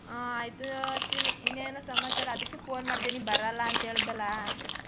ಆ ಆಯ್ತು ಅಶ್ವಿನಿ ಇನ್ನೇನು ಸಮಾಚಾರ ಅದಕ್ಕೆ phone ಮಾಡ್ದೆ ನೀ ಬರಲ್ಲ ಅಂತ ಹೇಳ್ದಲ್ಲ.